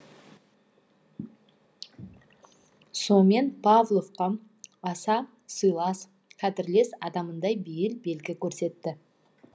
сомен павловқа аса сыйлас қадірлес адамындай бейіл белгі көрсетті